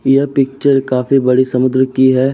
यह पिक्चर काफी बड़े समुद्र की है।